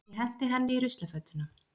Ég henti henni í ruslafötuna.